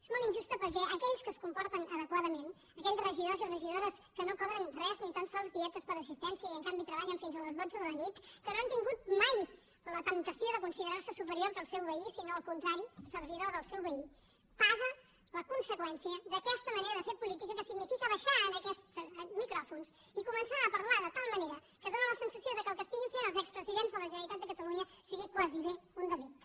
és molt injusta perquè aquells que es comporten adequadament aquells regidors i regidores que no cobren res ni tan sols dietes per assistència i en canvi treballen fins a les dotze de la nit que no han tingut mai la temptació de considerar se superior al seu veí sinó al contrari servidor del seu veí paguen la conseqüència d’aquesta manera de fer política que significa baixar a aquests micròfons i començar a parlar de tal manera que fa la sensació que el que estiguin fent els expresidents de la generalitat de catalunya sigui gairebé un delicte